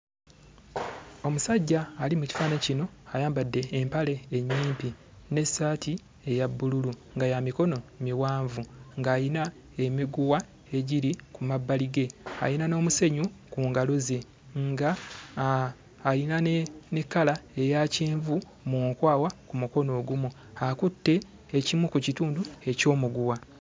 Omusajja ali mu kifaananyi kino ayambadde empale ennyimpi n'essaati eya bbululu nga ya mikono miwanvu, ng'ayina emiguwa egiri ku mabbali ge. Ayina n'omusenyu ku ngalo ze, ng'ayina ne kkala eya kyenvu mu nkwawa ku mukono ogumu. Akutte ekimu ku kitundu eky'omuguwa.